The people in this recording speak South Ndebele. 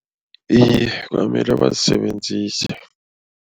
Iye, kwamele bazisebenzise.